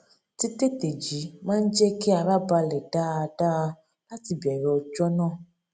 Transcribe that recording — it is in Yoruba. títètè jí máa n jẹ kí ara balè dáadáa láti bèrè ọjó náà